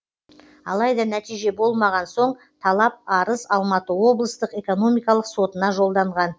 алайда нәтиже болмаған соң талап арыз алматы облыстық экономикалық сотына жолданған